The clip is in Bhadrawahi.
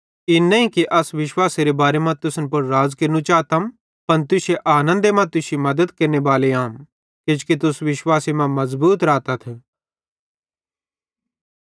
इन नईं कि अस विश्वासेरे बारे मां तुसन पुड़ राज़ केरनू चातम पन तुश्शे आनन्दे मां तुश्शी मद्दत केरनेबाले आम किजोकि तुस विश्वासे सेइं मज़बूत रातथ